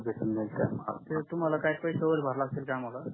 तुम्हाला काही पैसे वागेरे भरावे लागतील का आम्हाला